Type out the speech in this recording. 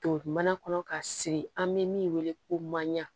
To mana kɔnɔ ka siri an bɛ min wele ko maɲan